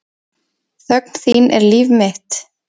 Þögn þín er líf mitt.